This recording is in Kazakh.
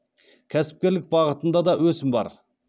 кәсіпкерлік бағытында да өсім бар